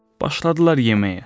Başladılar yeməyə.